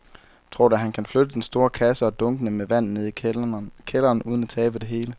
Tror du, at han kan flytte den store kasse og dunkene med vand ned i kælderen uden at tabe det hele?